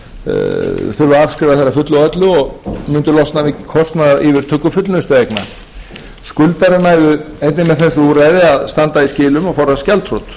þær að fullu og öllu og mundu losna við kostnað og yfirtöku fullnustueigna skuldarar næðu einnig með þessu úrræði að standa í skilum og forðast gjaldþrot